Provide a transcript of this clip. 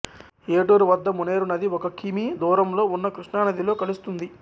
ఏటూరు వద్ద మునేరు నది ఒక కి మీ దూరంలో ఉన్న కృష్ణానదిలో కలుస్తుంది